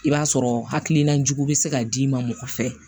I b'a sɔrɔ hakilina jugu bɛ se ka d'i ma mɔgɔ fɛ